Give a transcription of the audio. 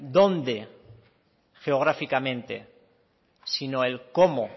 dónde geográficamente sino el cómo